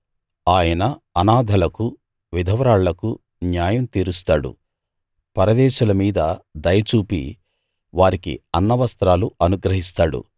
ఆయన అనాథలకు విధవరాళ్ళకు న్యాయం తీరుస్తాడు పరదేశుల మీద దయ చూపి వారికి అన్నవస్త్రాలు అనుగ్రహిస్తాడు